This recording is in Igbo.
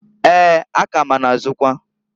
Eeǃ A ka ma na -azụkwa.